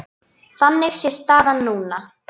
Þannig sé staðan núna.